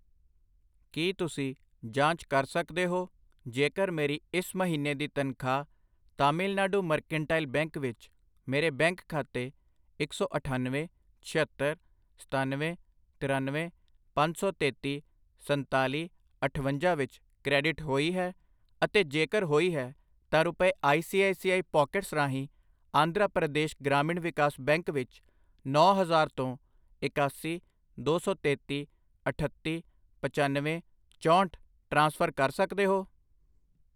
ਕਿ ਤੁਸੀਂਂ ਜਾਂਚ ਕਰ ਸਕਦੇ ਹੋ ਜੇਕਰ ਮੇਰੀ ਇਸ ਮਹੀਨੇ ਦੀ ਤਨਖਾਹ ਤਾਮਿਲਨਾਡੂ ਮਰਕੈਂਟਾਈਲ ਬੈਂਕ ਵਿੱਚ ਮੇਰੇ ਬੈਂਕ ਖਾਤੇ ਇੱਕ ਸੌ ਅਠਾਨਵੇਂ, ਛਿਅੱਤਰ, ਸਤਨਵੇਂ, ਤਰਨਵੇਂ, ਪੰਜ ਸੌ ਤੇਤੀ, ਸੰਤਾਲੀ, ਅਠਵੰਜਾ ਵਿੱਚ ਕ੍ਰੈਡਿਟ ਹੋਈ ਹੈ, ਅਤੇ ਜੇਕਰ ਹੋਈ ਹੈ, ਤਾਂ ਰੁਪਏ I C I C I pockets ਰਾਹੀਂ ਆਂਧਰਾ ਪ੍ਰਦੇਸ਼ ਗ੍ਰਾਮੀਣ ਵਿਕਾਸ ਬੈਂਕ ਵਿੱਚ ਨੌਂ ਹਜ਼ਾਰ ਤੋਂ ਇਕਾਸੀ, ਦੋ ਸੌ ਤੇਤੀ, ਅਠੱਤੀ, ਪਚੱਨਵੇਂ, ਚੋਹਂਠ ਟ੍ਰਾਂਸਫਰ ਕਰ ਸਕਦੇ ਹੋ?